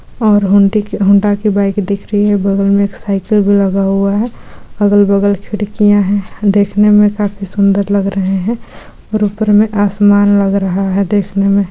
और हुंडी की हुँडा की बाइक दिख रही है बगल में एक साइकल भी लगा हुआ है अगल-बगल खिड़कियां है देखने में काफी सुन्दर लग रहे है और ऊपर में आसमान लग रहा है देखने में।